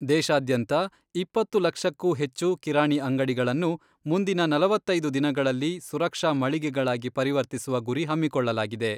ದೇಶಾದ್ಯಂತ ಇಪ್ಪತ್ತು ಲಕ್ಷಕ್ಕೂ ಹೆಚ್ಚು ಕಿರಾಣಿ ಅಂಗಡಿಗಳನ್ನು ಮುಂದಿನ ನಲವತ್ತೈದು ದಿನಗಳಲ್ಲಿ ಸುರಕ್ಷಾ ಮಳಿಗೆಗಳಾಗಿ ಪರಿವರ್ತಿಸುವ ಗುರಿ ಹಮ್ಮಿಕೊಳ್ಳಲಾಗಿದೆ.